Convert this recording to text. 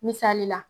Misali la